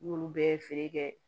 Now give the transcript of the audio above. N'olu bɛɛ ye feere kɛ